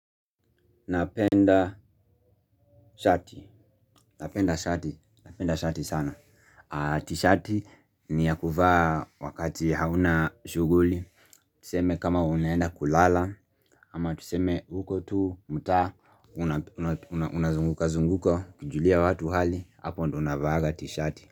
Napenda shati, napenda shati, napenda shati sana T-shati ni ya kuvaa wakati hauna shughuli. Tuseme kama unaenda kulala. Ama tuseme uko tu mtaa. Unazunguka zunguka, ukijulia watu hali hapo ndio unavaaga t-shati.